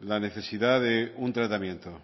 la necesidad de un tratamiento